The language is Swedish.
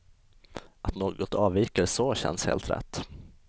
Att något avviker så känns helt rätt.